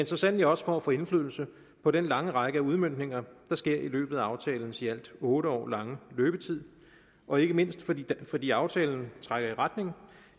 så sandelig også for at få indflydelse på den lange række af udmøntninger der sker i løbet af aftalens i alt otte år lange løbetid og ikke mindst fordi fordi aftalen trækker i retning